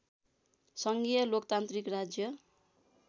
सङ्घीय लोकतान्त्रिक राज्य